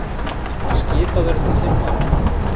Skipað verður til fimm ára.